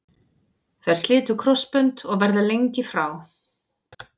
Þær slitu krossbönd og verða lengi frá.